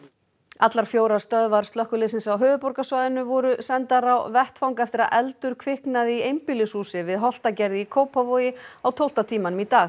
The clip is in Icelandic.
allar fjórar stöðvar slökkviliðsins á höfuðborgarsvæðinu voru sendar á vettvang eftir að eldur kviknaði í einbýlishúsi við Holtagerði í Kópavogi á tólfta tímanum í dag